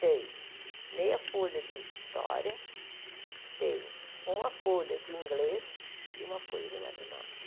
Tem meia folha de história, tem uma folha de inglês e uma folha de matemática.